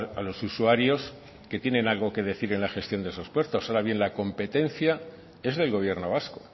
a los usuarios que tienen algo que decir en la gestión de los puertos ahora bien la competencia es del gobierno vasco